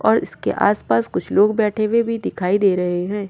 और इसके आसपास कुछ लोग बैठे हुए भी दिखाई दे रहे हैं।